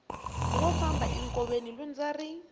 wo famba enkoveni lundza ri